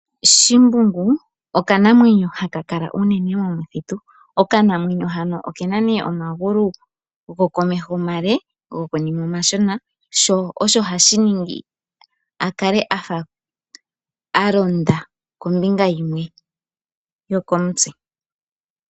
Shimbungu okanamwenyo haka kala uunene momuthitu Okanamwenyo hano okena nee omagulu gokomeho omale gokonima omashona sho osho hashiningi opo akale afa alonda kombinga himwe yokomutse.